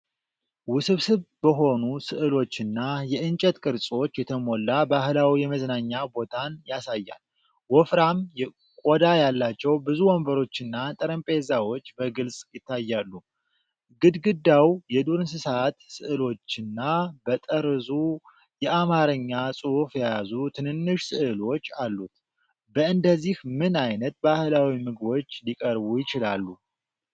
ውስብስብ በሆኑ ሥዕሎችና የእንጨት ቅርጾች የተሞላ ባህላዊ የመዝናኛ ቦታን ያሳያል። ወፍራም ቆዳ ያላቸው ብዙ ወንበሮችና ጠረጴዛዎች በግልጽ ይታያሉ፤ ግድግዳው የዱር እንስሳት ሥዕሎችና በጠርዙ የአማርኛ ጽሑፍ የያዙ ትንንሽ ሥዕሎች አሉት። በእንደዚህ ምን ዓይነት ባህላዊ ምግቦች ሊቀርቡ ይችላሉ?